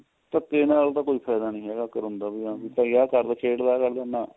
ਧਕੇ ਨਾਲ ਤਾਂ ਕੋਈ ਫਾਇਦਾ ਨੀਂ ਹੈਗਾ ਕਰਨ ਦਾ ਵੀ ਭਾਈ ਆ ਕਰਦੋ ਦਾ ਕਰਦੋ ਨਾ